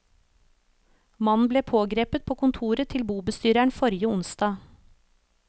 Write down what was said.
Mannen ble pågrepet på kontoret til bobestyreren forrige onsdag.